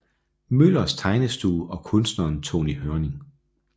Møllers Tegnestue og kunstneren Tonny Hørning